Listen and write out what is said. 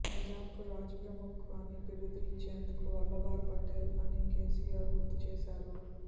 నిజాంకు రాజ్ ప్రముఖ్ అని బిరుదు ఇచ్చిందే వల్లభారు పటేల్ అని కేసీఆర్ గుర్తుచేశారు